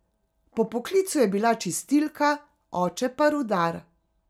Po poklicu je bila čistilka, oče pa rudar.